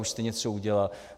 Už jste něco udělal?